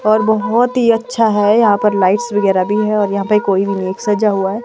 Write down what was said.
और बहुत ही अच्छा है यहां पर लाइट्स वगैरह भी है और यहां पे कोई भी नहीं है सजा हुआ है।